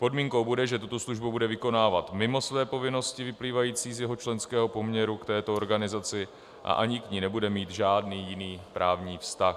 Podmínkou bude, že tuto službu bude vykonávat mimo své povinnosti vyplývající z jeho členského poměru k této organizaci a ani k ní nebude mít žádný jiný právní vztah.